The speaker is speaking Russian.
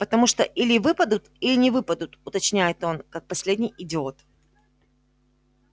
потому что или выпадут или не выпадут уточняет он как последний идиот